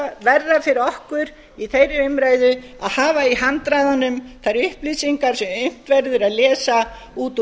það verði verra fyrir okkur í þeirri umræðu að hafa í handraðanum þær upplýsingar sem unnt verður að lesa út úr